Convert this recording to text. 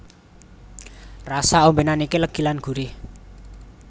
Rasa ombènan iki legi lan gurih